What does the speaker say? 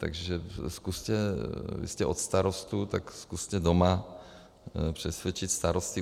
Takže zkuste, vy jste od starostů, tak zkuste doma přesvědčit starosty.